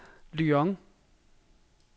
Lyon